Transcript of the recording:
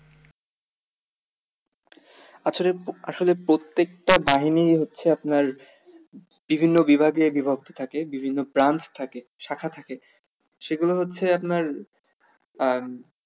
আসলে আসলে প্রত্যেক টা বাহিনিই হচ্ছে আপনার বিভিন্ন বিভাগে বিভক্ত থাকে বিভিন্ন branch থাকে শাখা থাকে সেগুলো হচ্ছে আপনার আহ